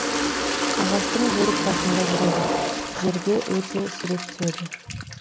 ағаштың бөрікбасында жүреді жерге өте сирек түседі